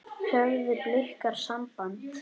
Höfðu Blikar samband?